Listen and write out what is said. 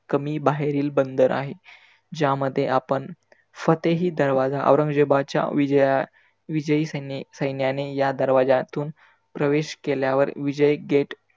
कमी बाहेरील बंदर आहे. ज्यामध्ये आपण फतेही दरवाजा औरंगजेबाच्या विजया विजयी सैने सैन्याने या दरवाज्यातून प्रवेश केल्यावर विजयी gate